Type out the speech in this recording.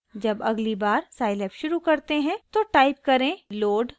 जब अगली बार साइलैब शुरू करते हैं तो टाइप करें load thissession